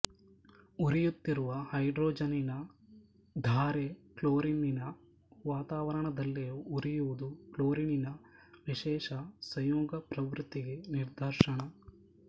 ಉರಿಯುತ್ತಿರುವ ಹೈಡ್ರೋಜನ್ನಿನ ಧಾರೆ ಕ್ಲೋರಿನ್ನಿನ ವಾತಾವರಣದಲ್ಲಿಯೂ ಉರಿಯುವುದು ಕ್ಲೋರಿನಿನ್ನ ವಿಶೇಷ ಸಂಯೋಗಪ್ರವೃತ್ತಿಗೆ ನಿದರ್ಶನ